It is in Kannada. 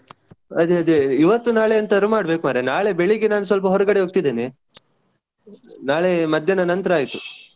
ಅದೇ ಅದೇ ಇವತ್ತು ನಾಳೆ ಎಂತಾದ್ರು ಮಾಡ್ಬೇಕು ಮಾರಯಾ. ನಾಳೆ ಬೆಳಗ್ಗೆ ನಾನು ಸ್ವಲ್ಪ ಹೊರಗಡೆ ಹೋಗ್ತಿದ್ದೇನೆ. ನಾಳೆ ಮದ್ಯಾನ ನಂತ್ರ ಆಯ್ತು.